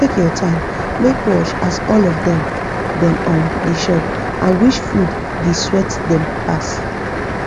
take ur time make watch as all of them them um da chop and which food the swet them pass